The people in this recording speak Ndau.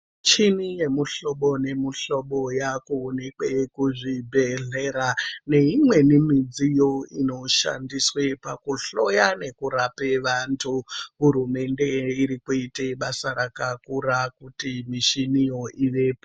Michini nemichini yemuhlobo nemuhlobo yakuoneka kuzvibhehleya neimweni midziyo inoshandaiswa pakuhloya nekurapa vantu hurumende irikuita basa rakakura kuti michini yo ivepo.